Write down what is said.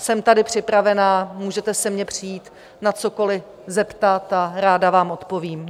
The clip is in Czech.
Jsem tady připravená, můžete se mě přijít na cokoli zeptat a ráda vám odpovím.